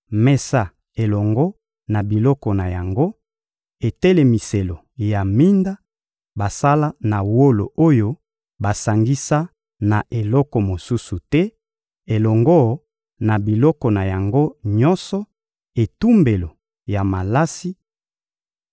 mesa elongo na biloko na yango; etelemiselo ya minda, basala na wolo oyo basangisa na eloko mosusu te, elongo na biloko na yango nyonso; etumbelo ya malasi,